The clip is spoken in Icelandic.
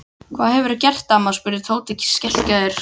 Hvað hefurðu gert amma? spurði Tóti skelkaður.